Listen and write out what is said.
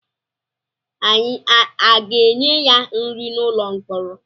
A ga-enye ya nri n'ụlọ mkpọrọ?